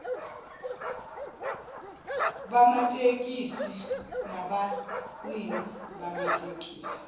bamatekisi nabanini bamatekisi